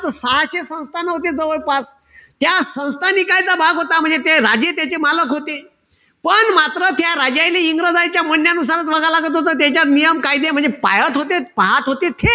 सहाशे संस्थानं होते जवळपास. त्या संस्थानिकायचा भाग होता. म्हणजे ते राजे त्याचे मालक होते. पण मात्र त्या राजाईले इंग्रजायच्या म्हण्यानुसारच म्हणा लागत होतं. त्यायचे नियम-कायदे म्हणजे पायत पाहत होतेच.